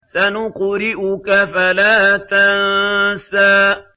سَنُقْرِئُكَ فَلَا تَنسَىٰ